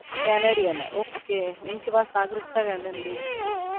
Canada ना ok उनके पास नागरिकता कैनेडा का है